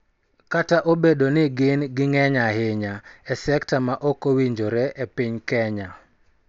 Kata obedo ni gin ng�eny ahinya e sekta ma ok owinjore e piny Kenya,